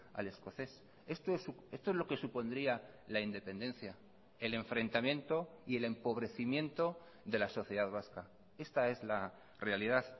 al escocés esto es lo que supondría la independencia el enfrentamiento y el empobrecimiento de la sociedad vasca esta es la realidad